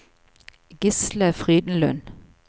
Gisle Frydenlund